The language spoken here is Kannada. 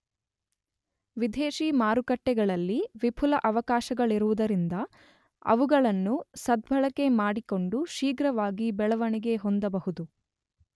ವಿದೇಶೀ ಮಾರುಕಟ್ಟೆಗಳಲ್ಲಿ ವಿಪುಲ ಅವಕಾಶಗಳಿರುವುದರಿಂದ ಅವುಗಳನ್ನು ಸದ್ಬಳಕೆ ಮಾಡಿಕೊಂಡು ಶ್ರೀರ್ಘವಾಗಿ ಬೆಳವಣಿಗೆ ಹೊಂದಬಹುದು.